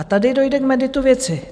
A tady dojde k meritu věci.